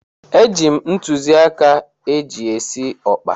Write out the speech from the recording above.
Eji m ntụzịaka eji esi ọkpa.